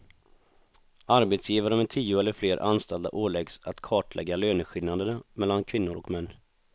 Arbetsgivare med tio eller fler anställda åläggs att kartlägga löneskillnaderna mellan kvinnor och män.